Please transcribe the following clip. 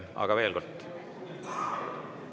Aga veel kord.